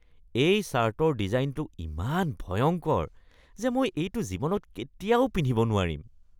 এই ছাৰ্টৰ ডিজাইনটো ইমান ভয়ংকৰ যে মই এইটো জীৱনত কেতিয়াও পিন্ধিব নোৱাৰিম।